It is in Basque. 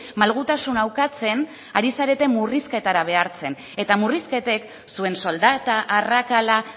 malgutasuna ukatzen ari zarete murrizketara behartzen eta murrizketek zuen soldata arrakala